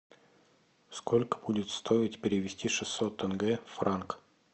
сколько будет стоить перевести шестьсот тенге в франк